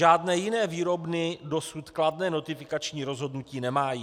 Žádné jiné výrobny dosud kladné notifikační rozhodnutí nemají.